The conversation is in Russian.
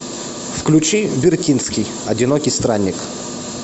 включи вертинский одинокий странник